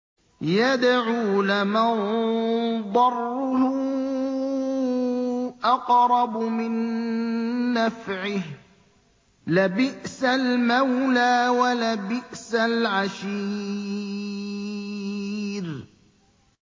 يَدْعُو لَمَن ضَرُّهُ أَقْرَبُ مِن نَّفْعِهِ ۚ لَبِئْسَ الْمَوْلَىٰ وَلَبِئْسَ الْعَشِيرُ